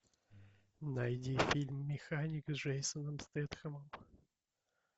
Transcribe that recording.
найди фильм механик с джейсоном стэтхэмом